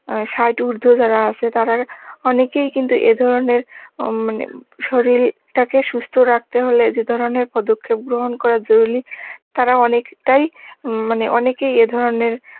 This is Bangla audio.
ষাট উর্ধ যারা আছে তারা অনেকেই কিন্তু এ ধরনের ওম মানে শরির টাকে সুস্থ রাখতে হলে যে ধরনের পদক্ষেপ গ্রহণ করা জরুরি তারা অনেকটাই উম মানে অনেকেই এ ধরনের,